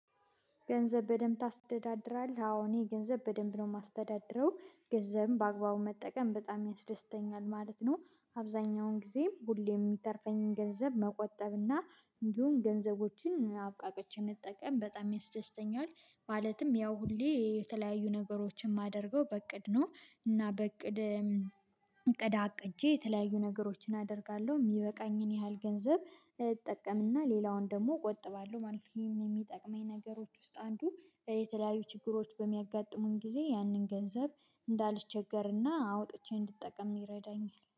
ገንዘብ በደንብ ታስተዳድራለህ? አዎ እኔ ገንዘብ በደንብ ነው የማስተዳድረው ገንዘብም በአግባቡ መጠቀም በጣም ያስደስተኛል ማለት ነው። አብዛኛውን ጊዜ ሁሌ የሚተርፈኝን ገንዘብ መቆጠብ እና እንዲሁም ገንዘቦችን አብቃቀች መጠቀም በጣም ያስደስተኛል። ማለትም ያው ሁሌ የተለያዩ ነገሮችን የማደርገው በእቅድ ነው። እና በእቅድ እቅድ አቅጄ የተለያዩ ነገሮችን አደርጋለሁ የሚበቃኝን ያህል ገንዘብ እጠቀምና ሌላውን ደግሞ እቆጥባለሁ ማለት ነው። ይሄ የሚጠቅመኝ ነገሮች ውስጥ አንዱ የተለያዩ ችግሮች በሚያጋጥሙን ጊዜ ያንን ገንዘብ እንዳልቸገርና አውጥቼ እንድጠቀም ይረዳኛል